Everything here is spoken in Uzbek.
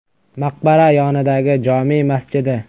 Maqbara yonidagi jome masjidi.